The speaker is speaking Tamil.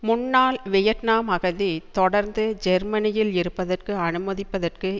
முன்னாள் வியட்நாம் அகதி தொடர்ந்து ஜெர்மனியில் இருப்பதற்கு அனுமதிப்பதற்கு